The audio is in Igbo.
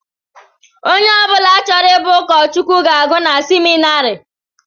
Ónyé ọbula chọrọ ịbụ ukochukwu na-agu n'seminarii.